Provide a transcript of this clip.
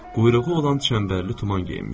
Quyruğu olan çənbərli tuman geyinmişdi.